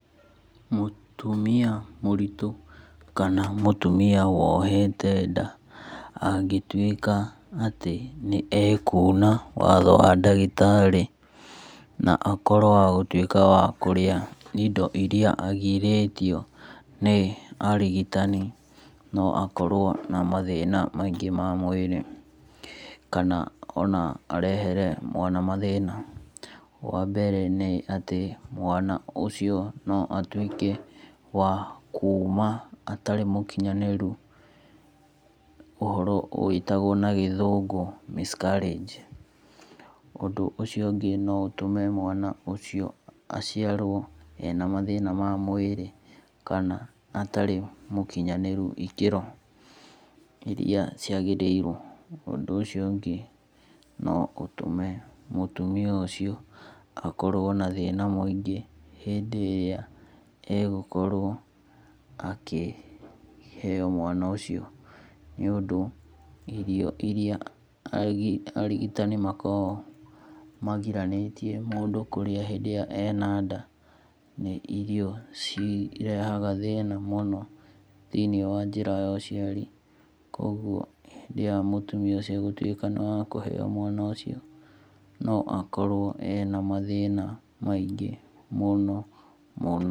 Mũtumia mũritũ kama mũtumia wohete nda angĩtuĩka atĩ nĩ ekuna watho wa ndagĩtarĩ na akorwo wagũtuĩka wa kũrĩa indo iria agirĩtio nĩ arigitani no akorwo na mathĩna maingĩ ma mwirĩ. Kana ona arehere mwana mathĩna. Wambere nĩ atĩ mwana ũcio no atũike wa kuma atarĩ mũkinyanĩru, ũhoro wĩtagwo na gĩthũngũ miscarage. Ũndũ ũcio ũngĩ no ũtũme mwana ũcio aciarwo ena mathĩna ma mwĩri kana atarĩ mũkinyanĩru ĩkĩro iria ciagĩrĩrwo. Ũndũ ũcio ũngĩ no ũtũme mũtumia ũcio akorwo na thĩna mũingĩ hindĩ ĩrĩa egũkorwo akĩ heo mwana ũcio. Nĩũndũ irio iria arigitani makoragwo magiranĩtie mũndũ kũrĩa hĩndĩ ĩrĩa e na nda nĩ irio irehaga thĩna mũno thĩ~inĩ wa njĩra ya ũciari. Kogwo hĩndĩ ĩrĩa mũtumia ũcio agũtuĩka nĩ wakũheo mwana ũcio no akorwo ena mathĩna maingĩ mũno mũno.